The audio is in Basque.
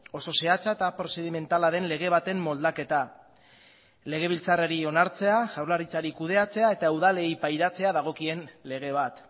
oso zehatza eta prozedimentala den lege baten moldaketa legebiltzarrari onartzea jaurlaritzari kudeatzea eta udalei pairatzea dagokien lege bat